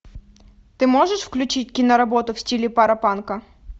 ты можешь включить киноработу в стиле паропанка